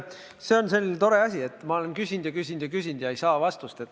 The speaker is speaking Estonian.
Jaa, vot see on selline tore asi, et ma olen küsinud ja küsinud ja küsinud ja ei saa vastust.